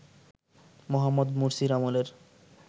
মোহাম্মদ মুরসির আমলের